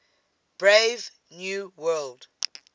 brave new world